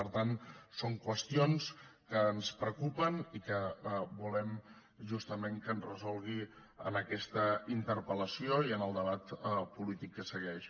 per tant són qüestions que ens preocupen i que volem justament que ens resolgui en aquesta interpel·lació i en el debat polític que segueix